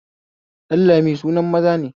Danlami sunan maza ne